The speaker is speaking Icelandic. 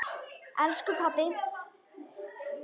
elsku pabbi.